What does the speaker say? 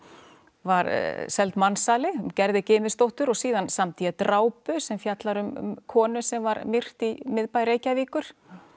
var seld mansali Gerði síðan samdi ég drápu sem fjallar um konu sem var myrt í miðbæ Reykjavíkur